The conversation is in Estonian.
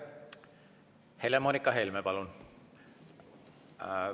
Helle-Moonika Helme, palun!